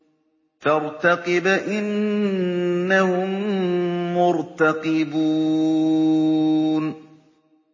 فَارْتَقِبْ إِنَّهُم مُّرْتَقِبُونَ